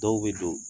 Dɔw bɛ don